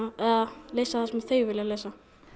að lesa það sem þau vilja lesa